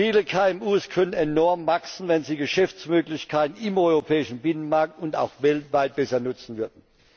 Viele KMU könnten enorm wachsen, wenn sie Geschäftsmöglichkeiten im europäischen Binnenmarkt und auch weltweit besser nutzen würden.